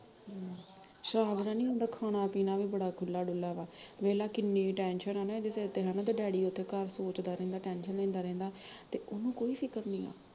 ਹਮ, ਸ਼ਰਾਬ ਦਾ ਨੀ ਹੁੰਦਾ ਖਾਣਾ ਪੀਣਾ ਵੀ ਬੜਾ ਖੁੱਲਾ ਡੁੱਲਾਂ ਵਾ, ਵੇਖਲਾ ਕਿੰਨੀ tension ਆ ਨਾ ਇਹਦੇ ਸਿਰ ਤੇ ਹੈਨਾ ਇਹਦਾ ਡੈਡੀ ਉੱਥੇ ਘਾਹ ਖੋਤਦਾ ਰਹਿੰਦਾ tension ਲੈਂਦਾ ਰਹਿੰਦਾ ਤੇ ਓਹਨੂੰ ਕੋਈ ਫਿਕਰ ਨੀ ਆ